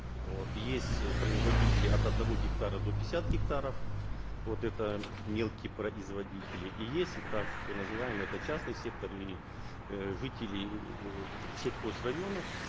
вот есть э производители от одного гектара до пятидесяти гектаров вот это мелкие производители и есть и так называемые это частный сектор и э жители э сельхозрайонов